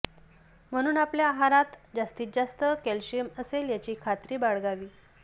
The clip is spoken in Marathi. म्हणून आपल्या आहारात जास्तीत जास्त कॅल्शियम असेल याची खात्री बाळगावी